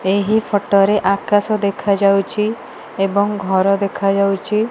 ଏହି ଫଟୋ ରେ ଆକାଶ ଦେଖାଯାଉଛି ଏବଂ ଘର ଦେଖାଯାଉଚି।